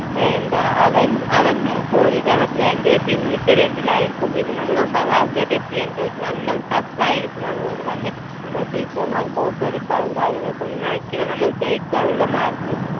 എന്താ അവൻ അവന് ചോദിക്കാൻ പറ്റില്ല. എൻ്റെ പിന്നിത്തെ bench ലായിരിക്കും. പിന്നെ നമ്മൾ ഒമ്പതാം class ൽ എത്തിയല്ലോ. നല്ല tough ആയിരിക്കും. അതുകൊണ്ടുതന്നെ നമ്മൾ teacher മാർ copy അടിക്കാനും കാര്യങ്ങൾക്കൊന്നും അയക്കില്ല. നമ്മൾ ജയിക്കാനുള്ള mark